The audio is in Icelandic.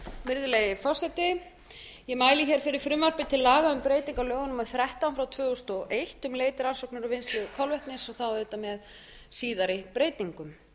virðulegi forseti ég mæli hér fyrir frumvarpi til laga um breytingu á lögum númer þrettán tvö þúsund og eitt um leit rannsóknir og vinnslu kolvetnis með síðari breytingum